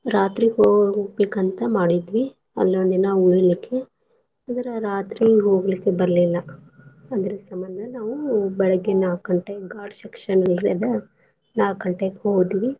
ರಾತ್ರಿ ಹೋಗ್ಬೇಕಂತ ಮಾಡಿದ್ವೀ ಅಲ್ಲೋಂದಿನಾ ಉಳಿಲಿಕ್ಕೆ ಆದ್ರ ರಾತ್ರಿ ಹೋಗ್ಲಿಕ್ಕೆ ಬರ್ಲಿಲ್ಲ ಅದ್ರ ಸಂಬಂದ ನಾವು ಬೆಳಗ್ಗೆ ನಾಕ್ ಗಂಟೆ ghat section ಅಲ್ಲರೀ ಅದ ನಾಕ್ ಗಂಟೆಕ್ ಹೋದ್ವಿ.